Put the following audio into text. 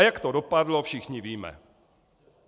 A jak to dopadlo, všichni víme.